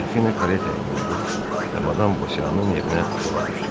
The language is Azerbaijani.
Delfina karetaya mindi və Madam Bosyanın evinə yola düşdülər.